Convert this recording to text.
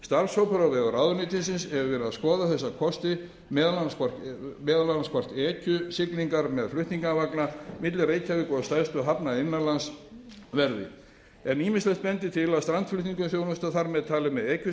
starfshópur á vegum ráðuneytisins hefur verið að skoða þessa kosti meðal annars hvort ekjusiglingum með flutningavagna milli reykjavíkur og stærstu hafna innanlands verði en ýmislegt bendir til að strandflutningaþjónusta þar með talið með